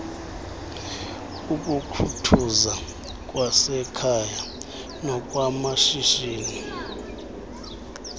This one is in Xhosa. ukukhuthuza kwasekhaya nokwamashishini